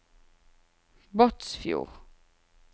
Båtsfjord